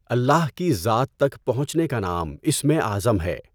الله کی ذات تک پہنچنے کا نام اسمِ اعظم ہے۔